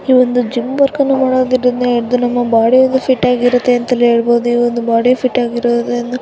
ಈ ಒಂದು gym work ಅಣ್ಣ ಮಾಡೋದ್ರಿಂದ ನಮ ಬಾಡಿ ಫಿಟ್ ಆಗಿರುತ್ತೆ ಅಂತ ಹೇಳ್ಬಹುದು ಈ ಒಂದು ಬಾಡಿ ಫಿಟ್ ಆಗಿರೋದ್ರಿಂದ--